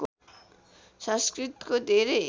संस्कृतको धेरै